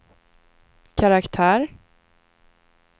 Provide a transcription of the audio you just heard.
karaktär